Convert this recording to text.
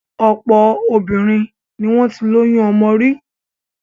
Ọ̀pọ̀ obìnrin ni wọ́n ti lóyún ọmọ rí.